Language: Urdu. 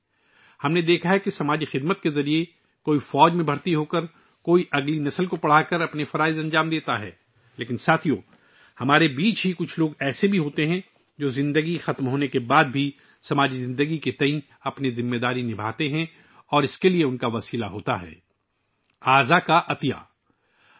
ہم نے دیکھا ہے کہ کچھ لوگ سماجی خدمت کے ذریعے اپنے فرائض سرانجام دیتے ہیں، کچھ فوج میں شامل ہو کر، کچھ اگلی نسل کو تعلیم دے کر، لیکن ساتھیو، ہم میں سے کچھ لوگ ایسے بھی ہیں جو زندگی کے خاتمے کے بعد بھی معاشرے اور زندگی کے تئیں اپنی ذمہ داریاں پوری کرتے ہیں اور اس کا ذریعہ اعضا کا عطیہ ہے